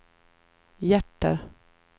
hjärter